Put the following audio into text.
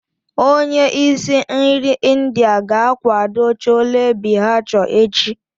Onye isi nri India ga-akwado Chole bhature echi.